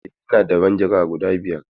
Eh, ina da manjagara guda biyar.